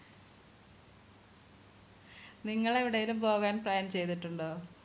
നിങ്ങൾ എവിടേലും പോകാൻ plan ചെയ്തിട്ടുണ്ടോ